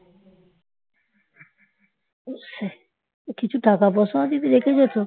কিছু টাকা পয়সাও যদি রেখে যেত